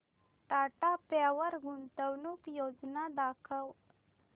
Tata power गुंतवणूक योजना दाखव